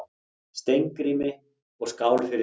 Steingrími, og skál fyrir því!